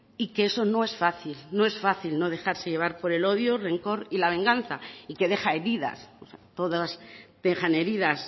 y que eso no es fácil no es fácil no dejarse llevar por el odio rencor y la venganza y que deja heridas todas dejan heridas